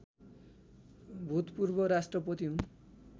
भूतपूर्व राष्ट्रपति हुन्